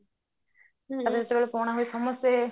ତାପରେ ଯେତେବେଳେ ପଣା ହୁଏ ସମସ୍ତେ